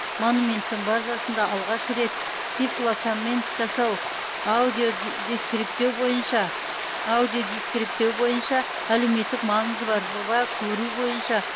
монументтің базасында алғаш рет тифлокоммент жасау аудиодискриптеу бойынша әлеуметтік маңызы бар жоба көру бойынша